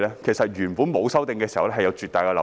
其實原本沒有修訂時，有絕大的漏洞。